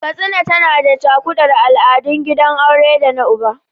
Katsina tana da cakuɗuwar al’adun gidan aure da na uba.